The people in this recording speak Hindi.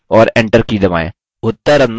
और enter की दबाएँ